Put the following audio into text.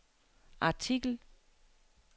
artikel